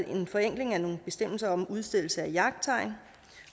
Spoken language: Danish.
en forenkling af nogle bestemmelser om udstedelse af jagttegn